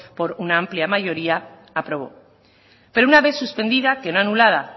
por una amplia mayoría aprobó pero una vez suspendida que no anulada